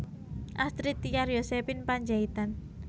Astrid Tiar Yosephine Panjaitan